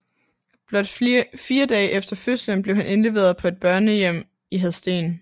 Blot fire dage efter fødslen blev han indleveret på et børnehjem i Hadsten